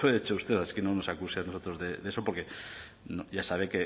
hecho usted así que no nos acuse a nosotros de eso porque ya sabe